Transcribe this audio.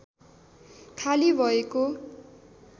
खाली भएको